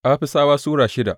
Afisawa Sura shida